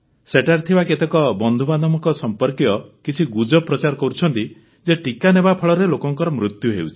ସେଠାରେ ଥିବା କେତେକ ବନ୍ଧୁବାନ୍ଧବଙ୍କ ସମ୍ପର୍କୀୟ କିଛି ଗୁଜବ ପ୍ରଚାର କରୁଛନ୍ତି ଯେ ଟିକା ନେବାଫଳରେ ଲୋକମାନଙ୍କର ମୃତ୍ୟୁ ହେଉଛି